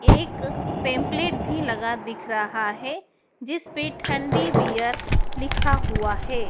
एक पैंपलेट भी लगा दिख रहा है जिस पे ठंडी बीयर लिखा हुआ है।